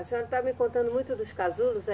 A senhora está me contando muito dos casulos, é.